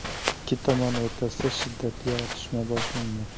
Ikki tomon o‘rtasida shiddatli otishma boshlangan.